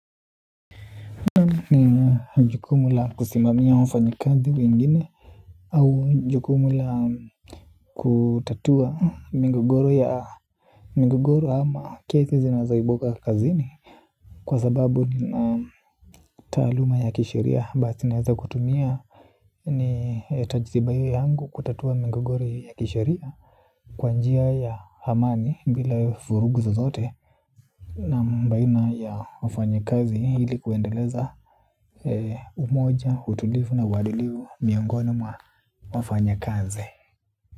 Nina jukumu la kusimamia wafanyakazi wengine au jukumula kutatua migogoro ya migogoro ama kesi zinazoibuka kazini kwa sababu ni taaluma ya kisheria basi naeza kutumia ni tajriba hiyo yangu kutatua migogoro ya kisheria kwa njia ya amani bila vurugu zozote naam baina ya wafanyakazi ili kuendeleza umoja, utulivu na uadilifu miongoni mwa wafanyakazi.